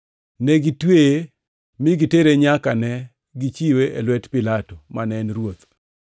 Ne gitweye mi gitere nyaka ne gichiwe e lwet Pilato, mane en ruoth.